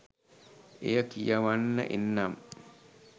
එය කියවන්න එන්නම්.